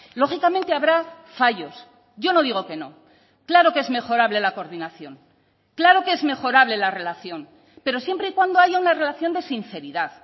lógicamente habrá fallos yo no digo que no claro que es mejorable la coordinación claro que es mejorable la relación pero siempre y cuando haya una relación de sinceridad